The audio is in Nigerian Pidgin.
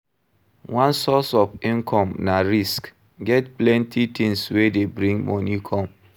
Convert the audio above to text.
One source of income na risk, get plenty things wey dey bring money come